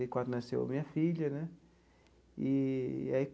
Oitenta e quatro, nasceu a minha filha né eee aí.